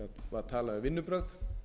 var talað um vinnubrögð